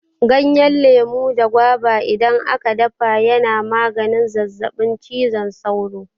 Ganyen lemu da gwaiba idan a ka dafa ya na maganin zazzaɓin cizon sauro.